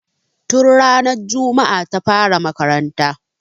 Tun ranar juma'a ta fara makaranta